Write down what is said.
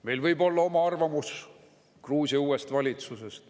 Meil võib olla oma arvamus Gruusia uuest valitsusest.